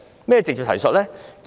何謂"直接提述"呢？